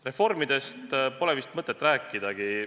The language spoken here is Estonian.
Reformidest pole vist mõtet rääkidagi.